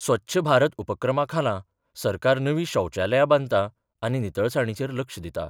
स्वच्छ भारत उपक्रमाखाला सरकार नवी शौचालया बांधता आनी नितळसाणीचेर लक्ष दिता.